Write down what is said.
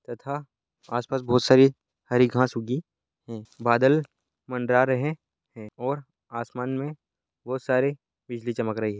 तथा आस-पास बहुत सारी हरी घास उगी है बादल मंडरा रहे है और आसमान में बहुत सारी बिजली चमक रही है।